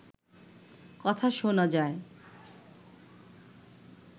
কথা শোনা যায়